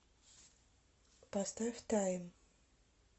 поставь тайм